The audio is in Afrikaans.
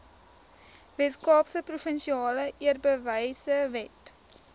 weskaapse provinsiale eerbewysewet